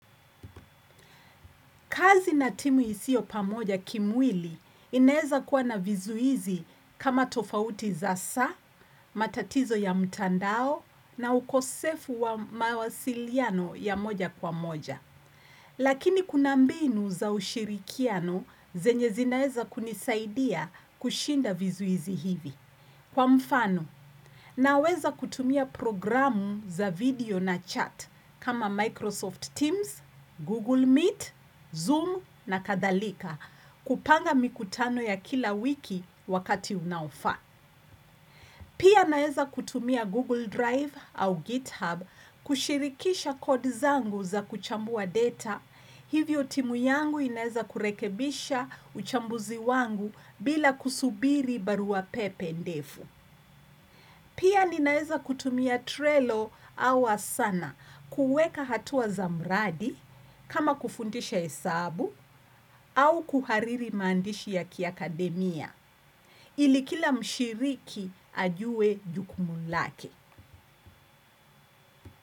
Kazi na timu isiyo pamoja kimwili inaweza kuwa na vizuizi kama tofauti za saa, matatizo ya mtandao na ukosefu wa mawasiliano ya moja kwa moja. Lakini kuna mbinu za ushirikiano zenye zinaeza kunisaidia kushinda vizuizi hivi. Kwa mfano, naweza kutumia programu za video na chat kama Microsoft Teams, Google Meet, Zoom na kadhalika kupanga mikutano ya kila wiki wakati unaofaa. Pia naweza kutumia Google Drive au GitHub kushirikisha kodi zangu za kuchambua data. Hivyo timu yangu inaweza kurekebisha uchambuzi wangu bila kusubiri barua pepe ndefu. Pia ninaweza kutumia Trelo awa Asana kuweka hatua za mradi kama kufundisha hesabu au kuhariri maandishi ya kiakademia ili kila mshiriki ajue jukumu lake.